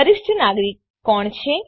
વરિષ્ઠ નાગરિક કોણ છે